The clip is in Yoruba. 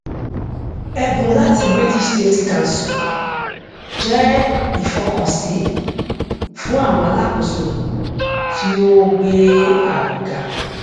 ẹbùn láti british safety council jẹ ìfọkànsí fún àwọn alákóso tí ó ó gbé ààbò ga